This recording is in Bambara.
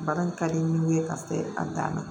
Baara in ka di n ye ka se a dan na